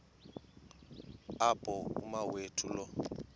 apho umawethu lo